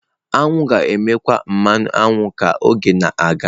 Aṅụ ga-emekwu mmanụ aṅụ ka oge na-aga.